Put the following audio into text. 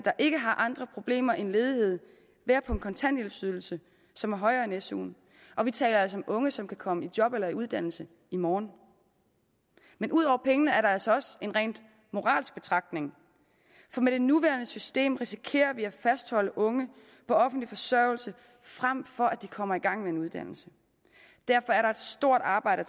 ikke har andre problemer end ledighed være på en kontanthjælpsydelse som er højere end suen og vi taler altså unge som kan komme i job eller i uddannelse i morgen men ud over pengene er der altså også en rent moralsk betragtning for med det nuværende system risikerer vi at fastholde unge på offentlig forsørgelse frem for at de kommer i gang med en uddannelse derfor er der et stort arbejde